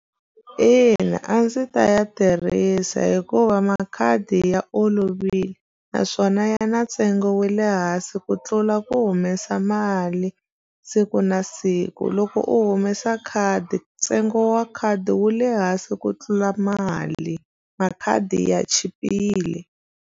Ina a ndzi ta ya tirhisa hikuva makhadi ya olovile naswona ya na ntsengo wa le hansi ku tlula ku humesa mali siku na siku loko u humesa khadi ntsengo wa khadi wu le hansi ku tlula mali makhadi ya chipile.